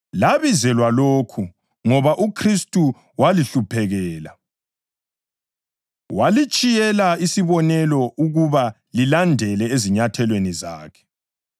Labizelwa lokhu, ngoba uKhristu walihluphekela, walitshiyela isibonelo ukuba lilandele ezinyathelweni zakhe.